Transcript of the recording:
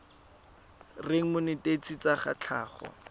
reng monetetshi wa tsa tlhago